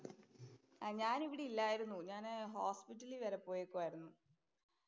ആഹ് ഞാനിവിടെ ഇല്ലായിരുന്നു. ഞാന് ഹോസ്പിറ്റലില്‍ വരെ പോയേക്കുവായിരുന്നു.